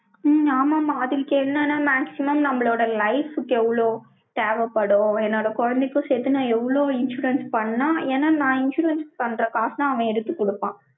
உம் ஆமாம்மா, அதுக்கு என்னன்னா, maximum நம்மளோட life க்கு எவ்வளோ, தேவைப்படும். என்னோட குழந்தைக்கும் சேர்த்து, நான் எவ்வளவு insurance பண்ணலாம். ஏன்னா, நான் insurance பண்ற காசை தான், அவன் எடுத்துக் கொடுப்பான்.